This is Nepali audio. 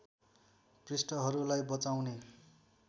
पृष्ठहरूलाई बचाउने